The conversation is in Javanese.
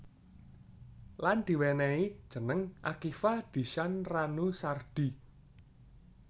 Lan diwenenhi jeneng Akiva Dishan Ranu Sardi